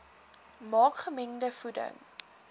maak gemengde voeding